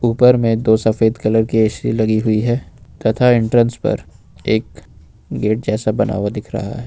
पर में तो सफेद कलर की ए_सी लगी हुई है तथा एंट्रेंस पर एक गेट जैसा बना हुआ दिख रहा है।